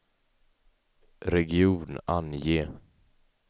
region, ange